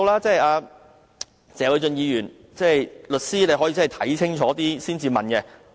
謝偉俊議員既是律師，可以先看清楚才提問。